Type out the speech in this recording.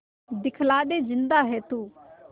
दिखला दे जिंदा है तू